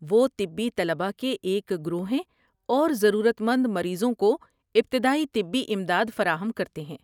وہ طبی طلباء کے ایک گروہ ہیں اور ضرورت مند مریضوں کو ابتدائی طبی امداد فراہم کرتے ہیں۔